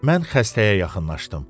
Mən xəstəyə yaxınlaşdım.